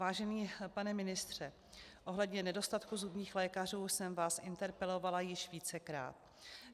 Vážený pane ministře, ohledně nedostatku zubních lékařů jsem vás interpelovala již vícekrát.